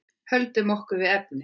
Höldum okkur við efnið.